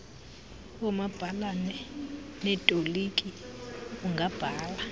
oomabhalana neetoliki ungabhala